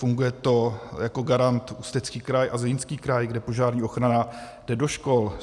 Funguje to, jako garant Ústecký kraj a Zlínský kraj, kde požární ochrana jde do škol.